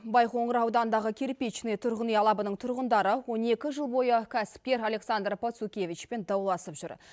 байқоңыр ауданындағы кирпичный тұрғын үй алабының тұрғындары он екі жыл бойы кәсіпкер александр пацукевичпен дауласып жүр